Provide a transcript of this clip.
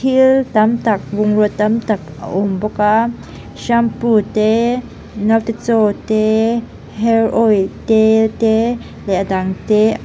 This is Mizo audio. thil tam tak bungraw tam tak a awm bawk a shampoo te naute chaw te hair oil tel te leh a dang te--